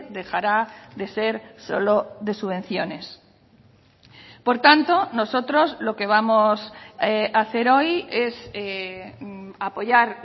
dejará de ser solo de subvenciones por tanto nosotros lo que vamos a hacer hoy es apoyar